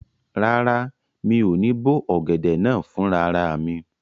Rárá, mi ò ní bó ọ̀gẹ̀dẹ̀ náà fún rara mi